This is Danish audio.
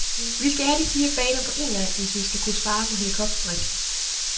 Vi skal have de fire baner på en gang, hvis vi skal kunne spare på helikopterdriften.